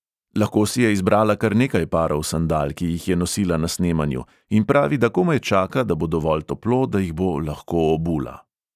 Lahko si je izbrala kar nekaj parov sandal, ki jih je nosila na snemanju, in pravi, da komaj čaka, da bo dovolj toplo, da jih bo lahko obula.